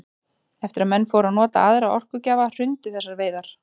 Eftir að menn fóru að nota aðra orkugjafa hrundu þessar veiðar.